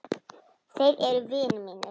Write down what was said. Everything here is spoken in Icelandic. Þeir eru vinir mínir.